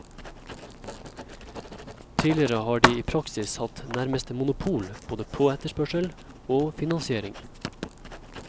Tidligere har de i praksis hatt nærmest monopol både på etterspørsel og finansiering.